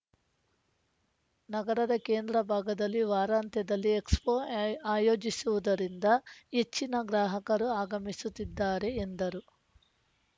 ನಗರದ ಕೇಂದ್ರ ಭಾಗದಲ್ಲಿ ವಾರಾಂತ್ಯದಲ್ಲಿ ಎಕ್ಸ್‌ಫೋ ಆಯೋಜಿಸಿರುವುದರಿಂದ ಹೆಚ್ಚಿನ ಗ್ರಾಹಕರು ಆಗಮಿಸುತ್ತಿದ್ದಾರೆ ಎಂದರು